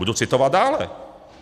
Budu citovat dále.